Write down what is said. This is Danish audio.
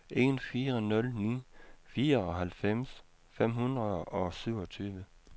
en fire nul ni fireoghalvfems fem hundrede og syvogtyve